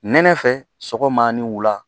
Nɛnɛ fɛ sɔgɔma ni wula